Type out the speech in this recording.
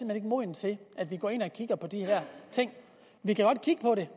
er moden til at vi går ind og kigger på de her ting vi kan godt kigge